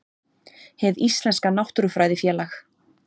hið íslenska náttúrufræðifélag